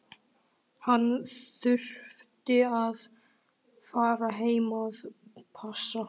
Hann þurfti að fara heim að passa.